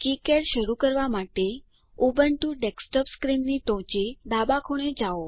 KiCad શરુ કરવા માટે ઉબુન્ટુ ડેસ્કટોપ સ્ક્રીનની ટોચે ડાબા ખૂણે જાઓ